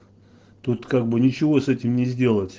тут как бы ничего с этим не сделать